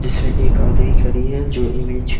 जिसमें एक आगे ही खड़ी है जो इमेज --